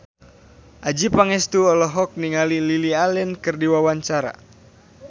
Adjie Pangestu olohok ningali Lily Allen keur diwawancara